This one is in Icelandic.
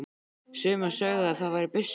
Sumir sögðu að það væri byssur.